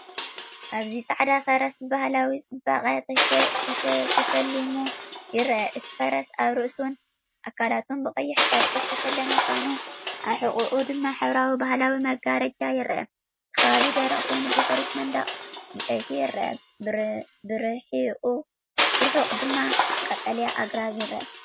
ኣብዚ ጻዕዳ ፈረስ ብባህላዊ ጽባቐ ተሰሊሙ ይርአ። እቲ ፈረስ ኣብ ርእሱን ኣካላቱን ብቐይሕ ጨርቂ ዝተሰለመ ኮይኑ፡ ኣብ ሕቖኡ ድማ ሕብራዊ ባህላዊ መጋረጃ ይርአ። እቲ ከባቢ ደረቕ ኮይኑ ብድሕሪት መንደቕ ዕንጨይቲ ይርአ፣ ብርሑቕ ድማ ቀጠልያ ኣግራብ ይርአ።